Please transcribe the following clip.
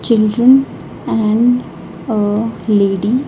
Children and a lady.